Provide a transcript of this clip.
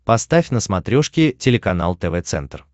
поставь на смотрешке телеканал тв центр